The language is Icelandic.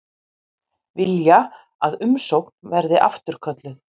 Vilja að umsókn verði afturkölluð